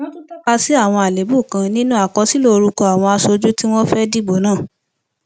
wọn tún tọka sí àwọn àléébù kan nínú àkọsílẹ orúkọ àwọn aṣojú tí wọn fẹẹ dìbò náà